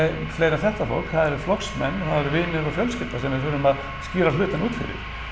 fleira en þetta fólk það eru flokksmenn og það er vinir og fjölskylda sem við þurfum að skýra hlutina út fyrir